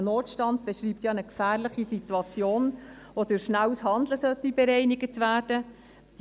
Ein Notstand beschreibt ja eine gefährliche Situation, die durch rasches Handeln bereinigt werden sollte.